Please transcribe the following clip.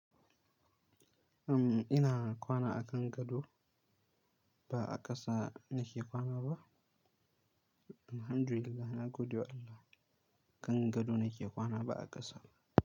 Am ina kwana a kan gado ba'a ƙasa nake kwana ba. Alhamdulillah nagode wa Allah kan gado nake kwana ba's ƙasa ba.